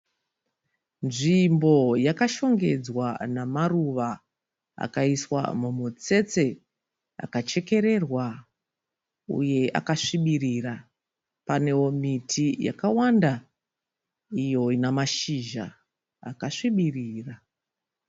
Nzvimbo yakashongedzwa namaruva akaiswa mumitsetse akachekererwa uye akasvibirira. Panewo miti yakawanda iyo inemashizha akasvibirira.